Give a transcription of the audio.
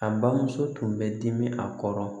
A bamuso tun bɛ dimi a kɔrɔ